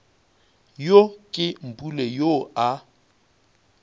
yo ke mpule yoo a